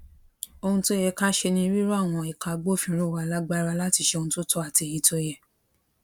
ohun tó yẹ ká ṣe ni rírọ àwọn ẹka agbófinró wa lágbára láti ṣe ohun tó tọ àtèyí tó yẹ